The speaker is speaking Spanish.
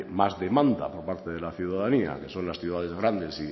más demanda por parte de la ciudadanía que son las ciudades grandes